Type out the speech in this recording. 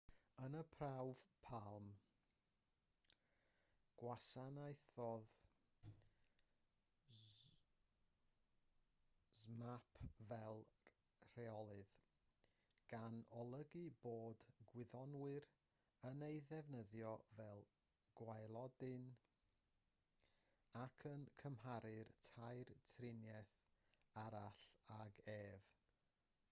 yn y prawf palm gwasanaethodd zmapp fel rheolydd gan olygu bod gwyddonwyr yn ei ddefnyddio fel gwaelodlin ac yn cymharu'r tair triniaeth arall ag ef